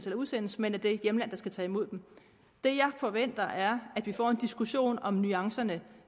udsendes men af det hjemland der skal tage imod dem det jeg forventer er at vi får en diskussion om nuancerne